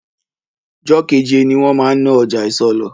Jọ́keje ni wọn máa ń ná ọjà isọlọ̀